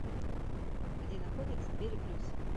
где находится двери плюс